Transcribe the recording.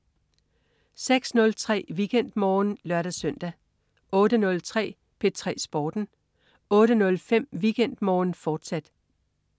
06.03 WeekendMorgen (lør-søn) 08.03 P3 Sporten 08.05 WeekendMorgen, fortsat